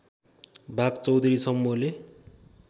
भाग चौधरी समूहले